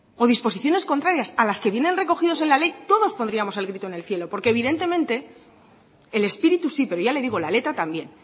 o disposiciones contrarias a las que vienen recogidas en la ley todos pondríamos el grito en el cielo porque evidentemente el espíritu sí pero ya le digo la letra también